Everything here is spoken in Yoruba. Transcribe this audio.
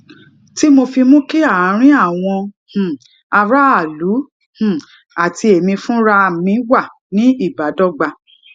tí mo fi mú kí àárín àwọn um aráàlú um àti èmi fúnra mi wà ni ibadogba